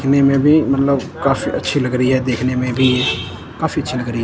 इतने में भी मतलब काफी अच्छी लग रही है देखने में भी काफी अच्छी लग रही है।